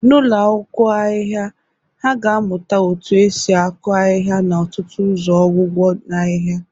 N'ụlọ akwụkwọ ahịhịa, ha ga-amụta otú e si akụ ahịhịa na ọtụtụ ụzọ ọgwụgwọ ahịhịa